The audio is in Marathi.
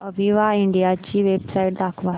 अविवा इंडिया ची वेबसाइट दाखवा